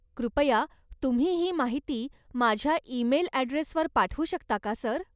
कृपया तुम्ही ही माहिती माझ्या ईमेल ॲड्रेसवर पाठवू शकता का सर?